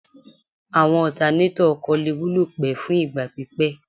Àwọn ọtanétọ̀ ọkọ̀ lè wúlò pẹ́ fún ìgbà pípẹ́